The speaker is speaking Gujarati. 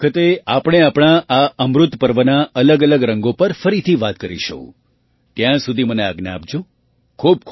આવતા વખતે આપણે આપણા આ અમૃતપર્વના અલગઅલગ રંગો પર ફરીથી વાત કરીશું ત્યાં સુધી મને આજ્ઞા આપજો